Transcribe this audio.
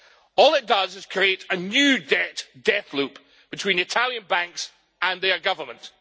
All it does is create a new debt death loop between Italian banks and their government.